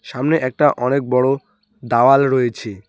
সামনে একটা অনেক বড়ো দাওয়াল রয়েছে।